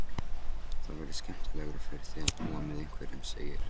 Það væri skemmtilegra fyrir þig að búa með einhverjum, segir